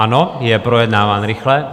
Ano, je projednáván rychle.